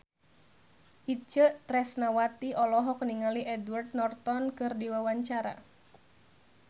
Itje Tresnawati olohok ningali Edward Norton keur diwawancara